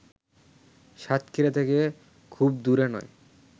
সাতক্ষীরা থেকে খুব দূরে নয়